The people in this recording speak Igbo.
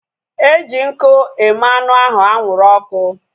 Eji nkụ eme anụ ahu anwụrụ ọkụ